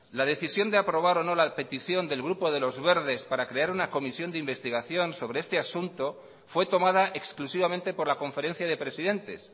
la decisión de aprobar o no la petición del grupo de los verdes para crear una comisión de investigación sobre este asunto fue tomada exclusivamente por la conferencia de presidentes